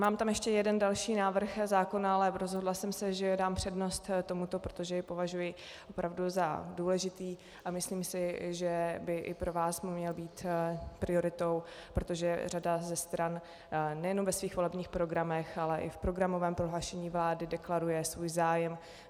Mám tam ještě jeden další návrh zákona, ale rozhodla jsem se, že dám přednost tomuto, protože jej považuji opravdu za důležitý a myslím si, že by i pro vás měl být prioritou, protože řada ze stran nejenom ve svých volebních programech, ale i v programovém prohlášení vlády deklaruje svůj zájem.